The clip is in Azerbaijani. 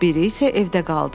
Biri isə evdə qaldı.